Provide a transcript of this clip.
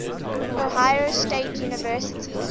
ohio state university